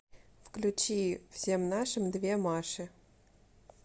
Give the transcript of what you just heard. включи всем нашим две маши